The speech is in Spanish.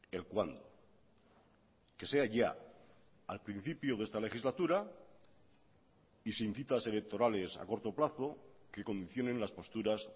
el cuándo que sea ya al principio de esta legislatura y sin citas electorales a corto plazo que condicionen las posturas